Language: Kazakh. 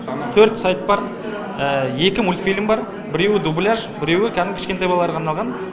төрт сайт бар екі мультфильм бар біреуі дубляж біреуі кәдімгі кішкентай балаларға арналған